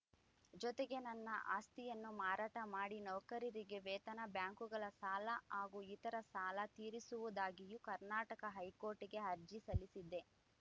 ಜೊತೆಗೆ ನನ್ನ ಆಸ್ತಿಯನ್ನು ಮಾರಾಟ ಮಾಡಿ ನೌಕರರಿಗೆ ವೇತನ ಬ್ಯಾಂಕುಗಳ ಸಾಲ ಹಾಗೂ ಇತರ ಸಾಲ ತೀರಿಸುವುದಾಗಿಯೂ ಕರ್ನಾಟಕ ಹೈಕೋರ್ಟ್‌ಗೆ ಅರ್ಜಿ ಸಲ್ಲಿಸಿದ್ದೆ